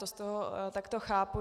To z toho takto chápu.